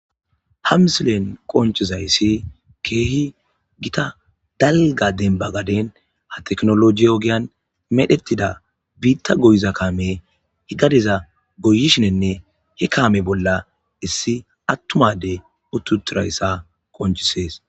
Ha misilen qonicisezays kehi gitta daliga denibako tekinolojy ogeyan medhetida bita goyiza kamey bitta goyishene he kame bolla issi adey uti utidayisa qonicises